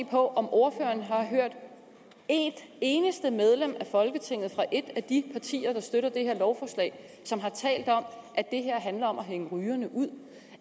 på om ordføreren har hørt et eneste medlem af folketinget fra et af de partier der støtter det her lovforslag som har talt om at det her handler om at hænge rygerne ud